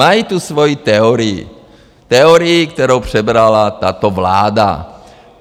Mají tu svoji teorii, teorii, kterou přebrala tato vláda.